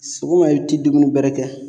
Sogoma i ti dumuni bɛrɛ kɛ.